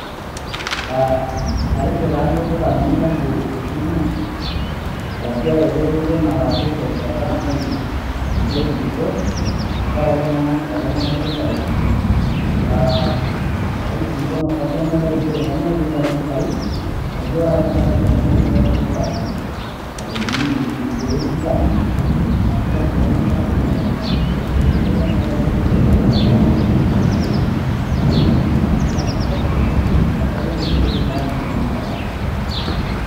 Aa atejo taa alo olduka nainepu esimu arashu ereteto nalaki terishata nalus netuluso tenkaraki naa etoponari mpisai ,aa aewuo aikilikwan orkastomai lai nchere kainyioo pileja mpisai naijo apa ore tendarishata naa mpisai kutik kilak nkalifuni ip inkieek tikitam ,kila enkolong alak mia mia ,naijo duoo kenyaakita ......